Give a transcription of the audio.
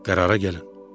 Qərara gəlin.